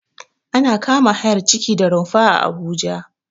Ana kama hayar ciki da rumfaa Abuja